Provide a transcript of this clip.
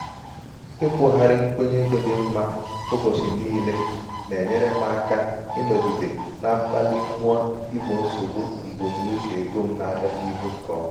ikwugharị nkwenye ego dị mma ụbọchị niile na-enyere niile na-enyere m um aka ịnọgide na mkpali mmụọ igbo nsogbu mbunuche ego m na-abịa n'ihu nke ọma.